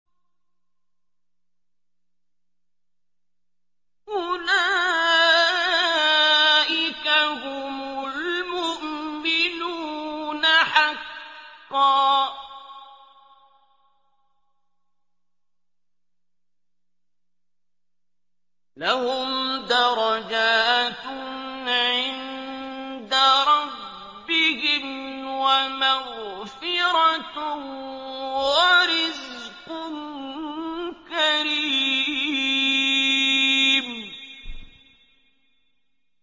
أُولَٰئِكَ هُمُ الْمُؤْمِنُونَ حَقًّا ۚ لَّهُمْ دَرَجَاتٌ عِندَ رَبِّهِمْ وَمَغْفِرَةٌ وَرِزْقٌ كَرِيمٌ